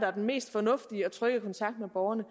er den mest fornuftige og trygge kontakt med borgerne og